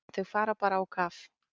Þau fara bara á kaf.